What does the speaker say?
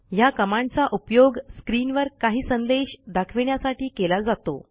ह्या कमांडचा उपयोग स्क्रीनवर काही संदेश दाखविण्यासाठी केला जातो